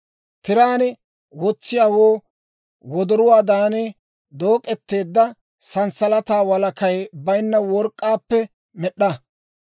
«Tiraan wotsiyaawoo wodoruwaadan dook'eteedda sanssalataa walakay baynna work'k'aappe med'd'a.